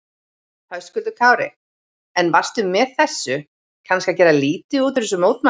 Höskuldur Kári: En varstu með þessu kannski að gera lítið úr þessum mótmælum?